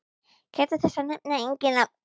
Gæta þess að nefna engin nöfn.